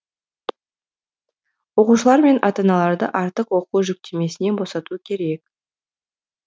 оқушылар мен ата аналарды артық оқу жүктемесінен босату керек